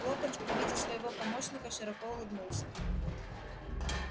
локонс при виде своего помощника широко улыбнулся